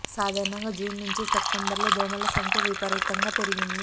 సాధారణంగా జూన్ నుంచి సెప్టెంబర్ లో దోమల సంఖ్య విపరీతంగా పెరిగింది